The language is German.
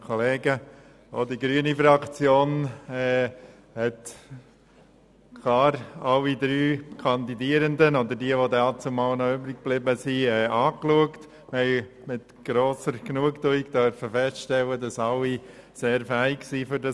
Auch die grüne Fraktion hat alle drei übriggebliebenen Kandidierenden angeschaut und mit grosser Genugtuung festgestellt, dass alle für dieses Amt sehr fähig sind.